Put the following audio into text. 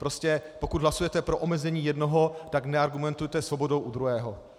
Prostě pokud hlasujete pro omezení jednoho, tak neargumentujte svobodou u druhého.